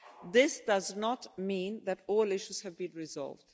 This does not mean that all issues have been resolved.